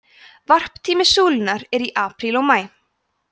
varptími súlunnar er í apríl og maí